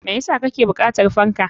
Me yasa kake bukatar fanka?